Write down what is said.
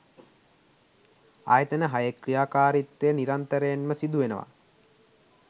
ආයතන හයේ ක්‍රියාකාරීත්වය නිරන්තරයෙන්ම සිද්ධවෙනවා.